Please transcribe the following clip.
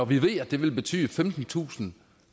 vi ved at det vil betyde femtentusind